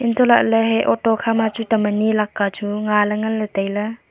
hantoh la le he auto khama chu tam ani lakka chu nga le ngan le tai le.